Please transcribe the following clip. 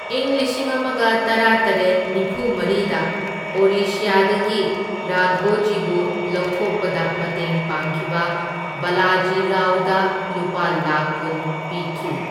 ꯏꯪ ꯂꯤꯁꯤꯡ ꯑꯃꯒ ꯇꯔꯥꯇꯔꯦꯠ ꯅꯤꯐꯨꯃꯔꯤꯗ ꯑꯣꯔꯤꯁ꯭ꯌꯥꯗꯒꯤ ꯔꯥꯘꯣꯖꯤꯕꯨ ꯂꯧꯊꯣꯛꯄꯗ ꯃꯇꯦꯡ ꯄꯥꯡꯈꯤꯕ ꯕꯥꯂꯥꯖꯤ ꯔꯥꯎꯗ ꯂꯨꯄꯥ ꯂꯥꯛꯈ ꯀꯨꯟ ꯄꯤꯈꯤ꯫